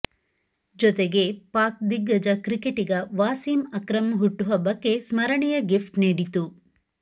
ಜೊತೆಗೆ ಪಾಕ್ ದಿಗ್ಗಜ ಕ್ರಿಕೆಟಿಗ ವಾಸೀಂ ಅಕ್ರಂ ಹುಟ್ಟುಹಬ್ಬಕ್ಕೆ ಸ್ಮರಣೀಯ ಗಿಫ್ಟ್ ನೀಡಿತು